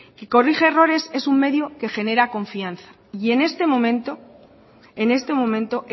y corrige errores es un medio que genera confianza y en este momento en este momento